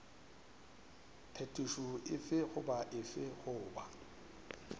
phetošo efe goba efe goba